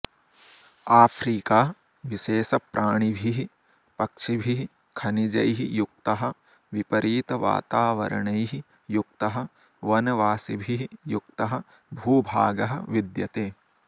Africa विशेषप्राणिभिः पक्षिभिः खनिजैः युक्तः विपरीतवातावरणैः युक्तः वनवासिभिः युक्तः भूभागः विद्यते